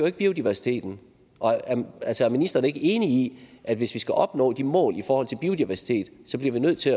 ikke biodiversiteten er ministeren ikke enig i at hvis vi skal opnå de mål i forhold til biodiversitet så bliver vi nødt til